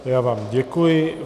Já vám děkuji.